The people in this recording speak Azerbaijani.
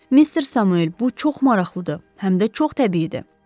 Mister Samuel, bu çox maraqlıdır, həm də çox təbii idi.